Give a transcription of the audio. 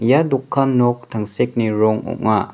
ia dokan nok tangsekni rong ong·a.